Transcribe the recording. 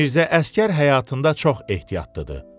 Mirzə Əsgər həyatında çox ehtiyatlıdır.